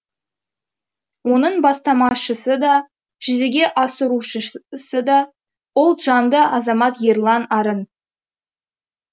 оның бастамашысы да жүзеге асырушысы да ұлтжанды азамат ерлан арын